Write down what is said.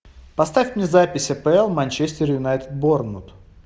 поставь мне запись апл манчестер юнайтед борнмут